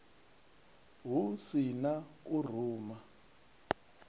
hu si na u ruma